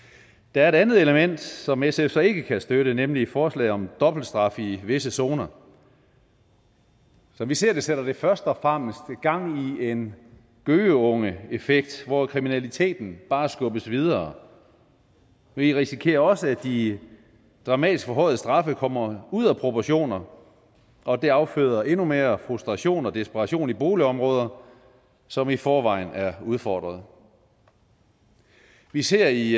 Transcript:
der er et andet element som sf så ikke kan støtte nemlig forslaget om dobbelt straf i visse zoner som vi ser det sætter det først og fremmest gang i en gøgeungeeffekt hvor kriminaliteten bare skubbes videre vi risikerer også at de dramatisk forhøjede straffe kommer ud af proportioner og at det afføder endnu mere frustration og desperation i boligområder som i forvejen er udfordret vi ser i